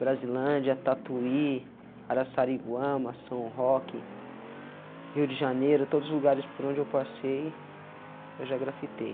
Brasilândia, Tatuí, Araçariguama, São Roque, Rio de Janeiro, todos os lugares por onde eu passei, eu já grafitei.